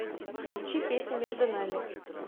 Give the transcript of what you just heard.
включи песня между нами